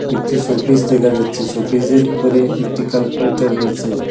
একটি শোকেস দেখা যাচ্ছে শোকেসের উপরে একটি ক্যালকুলেটর রয়েছে।